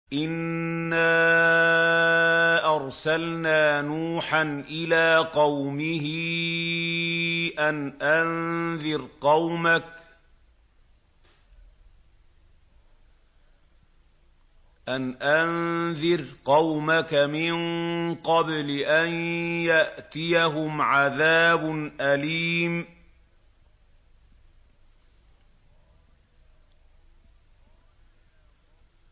إِنَّا أَرْسَلْنَا نُوحًا إِلَىٰ قَوْمِهِ أَنْ أَنذِرْ قَوْمَكَ مِن قَبْلِ أَن يَأْتِيَهُمْ عَذَابٌ أَلِيمٌ